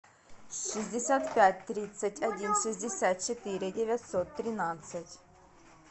шестьдесят пять тридцать один шестьдесят четыре девятьсот тринадцать